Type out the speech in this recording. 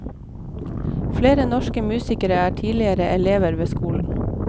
Flere norske musikere er tidligere elever ved skolen.